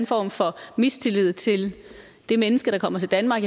form for mistillid til det menneske der kommer til danmark